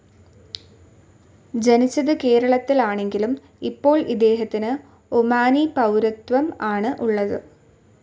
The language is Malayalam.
ജനിച്ചത് കേരളത്തിൽ ആണെങ്കിലും ഇപ്പോൾ ഇദ്ദേഹത്തിന് ഒമാനി പൌരത്വം ആണ് ഉള്ളത്.